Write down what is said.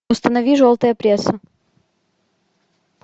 установи желтая пресса